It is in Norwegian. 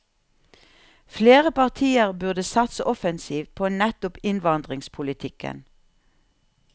Flere partier burde satse offensivt på nettopp innvandringspolitikken.